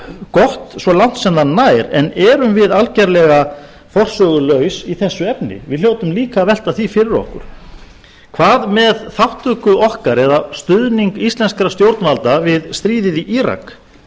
gott svo langt sem það nær en erum við algerlega forsögulaus í þessu efni við hljótum líka að velta því fyrir okkur hvað með þátttöku okkar eða stuðning íslenskra stjórnvalda við stríðið í írak og